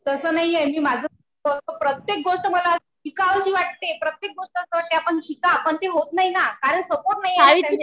तसं नाहीये. मी माझं बोलते. प्रत्येक गोष्ट मला शिकावीशी वाटते. प्रत्येक गोष्ट असं वाटते आपण शिका. पण ते होत नाही ना. कारण सपोर्ट नाही.